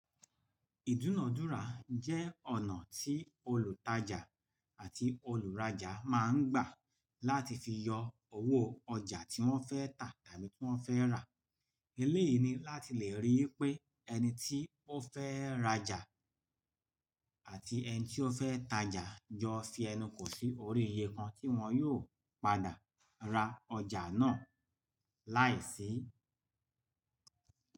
Ìdúnadúrà jẹ́ ọ̀nà tí olùtajà àti olùrajà máa ń gbà láti fi yọ owó ọjà tí wọ́n fẹ́ tà tàbí tí wọ́n fẹ́ rà. Eléyìí ni láti lè rí i pé ẹni tí ó fẹ́ rajà àti ẹni tí ó fẹ́ tajà jọ fi ẹnu kò sí orí iye kan tí wọ́n yóò padà ra ọjà náà láìsí.